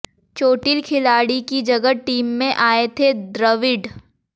चोटिल खिलाड़ी की जगह टीम में आए थे द्रविड़